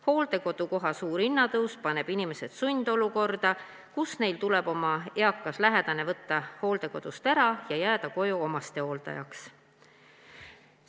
Hooldekodukoha suur hinnatõus paneb inimesed sundolukorda, kus neil tuleb võtta oma eakas lähedane hooldekodust ära ja jääda koju omastehooldajaks.